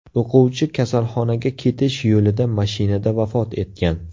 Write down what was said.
O‘quvchi kasalxonaga ketish yo‘lida mashinada vafot etgan.